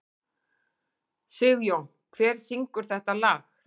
Sigjón, hver syngur þetta lag?